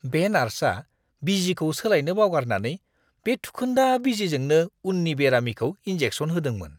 बे नार्सआ बिजिखौ सोलायनो बावगारनानै बे थुखोन्दा बिजिजोंनो उननि बेरामिखौ इनजेकसन होदोंमोन!